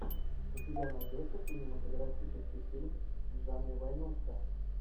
у тебя найдется кинематографический фильм в жанре войнушка